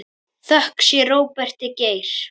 Þökk sé Róberti Geir.